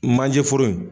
Manje foro in